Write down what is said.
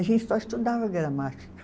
A gente só estudava gramática.